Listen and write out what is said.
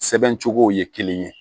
Sɛbɛn cogo ye kelen ye